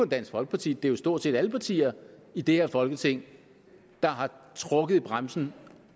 dansk folkeparti det er stort set alle partier i det her folketing der har trukket i bremsen